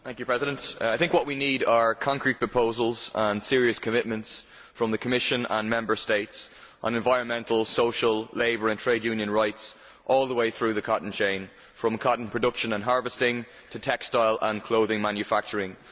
Mr President, I think what we need are concrete proposals and serious commitments from the Commission and Member States on environmental, social, labour and trade union rights all the way through the cotton chain from cotton production and harvesting to textile and clothing manufacturing.